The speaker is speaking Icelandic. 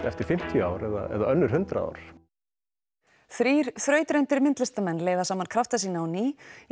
eftir fimmtíu ár eða önnur hundrað ár þrír þrautreyndir myndlistarmenn leiða saman krafta sína á ný